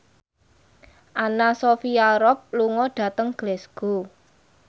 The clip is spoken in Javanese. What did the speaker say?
Anna Sophia Robb lunga dhateng Glasgow